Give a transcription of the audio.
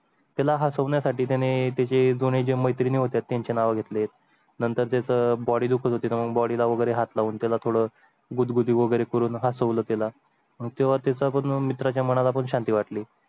त्याला हसवणे साठी त्याने त्याचे दोन्ही मैत्रिणी होत्या त्यांचे नाव घेतले नंतर ते Body दुखत होती. तुम्ही Body ला वगैरे हात लावून त्याला थोडा गुडगुडी वगैरे करून हा हासवाल तेला. मग तेव्हा त्याचा पण मित्राच्या मनात आपण शांती वाटली.